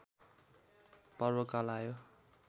पर्वकाल आयो